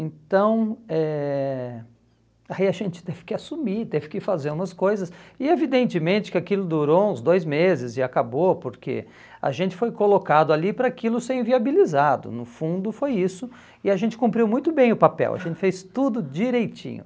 Então, eh aí a gente teve que assumir, teve que fazer umas coisas, e evidentemente que aquilo durou uns dois meses e acabou, porque a gente foi colocado ali para aquilo ser inviabilizado, no fundo foi isso, e a gente cumpriu muito bem o papel, a gente fez tudo direitinho.